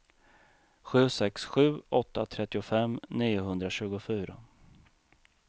sju sex sju åtta trettiofem niohundratjugofyra